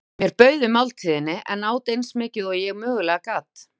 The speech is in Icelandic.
Mér bauð við máltíðinni en át eins mikið og ég mögulega gat.